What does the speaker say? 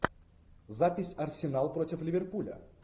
запись арсенал против ливерпуля